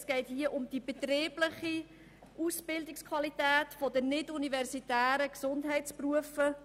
Es geht um die betriebliche Ausbildungsqualität der nicht-universitären Gesundheitsberufe.